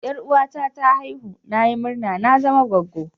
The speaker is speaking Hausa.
Yaruwa na ta aihu, na yi murma na zama gwaggo.